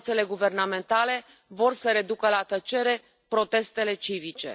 Forțele guvernamentale vor să reducă la tăcere protestele civice.